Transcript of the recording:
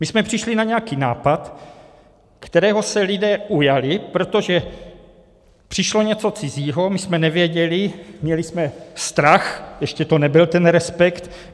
My jsme přišli na nějaký nápad, kterého se lidé ujali, protože přišlo něco cizího, my jsme nevěděli, měli jsme strach, ještě to nebyl ten respekt.